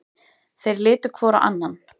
Þeir litu hvor á annan.